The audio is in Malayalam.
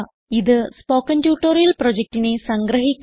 ഇത് സ്പോകെൻ ട്യൂട്ടോറിയൽ പ്രൊജക്റ്റിനെ സംഗ്രഹിക്കുന്നു